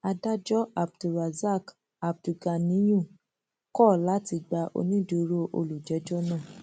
adájọ abdulrasak abdulganiyun kọ láti gba onídùúró olùjẹjọ náà